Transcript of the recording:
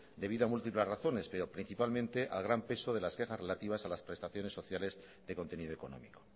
debido a múltiples razones pero principalmente al gran peso de las quejas relativas a las prestaciones sociales de contenido económico